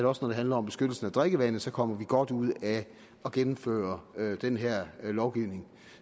også når det handler om beskyttelsen af drikkevandet kommer godt ud af at gennemføre den her lovgivning